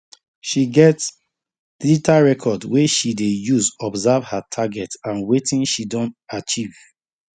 she get digital record wey she dey use observe her target and wetin she don achieve